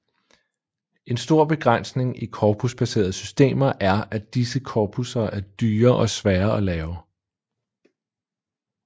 En stor begrænsning i korpusbaserede systemer er at disse korpusser er dyre og svære at lave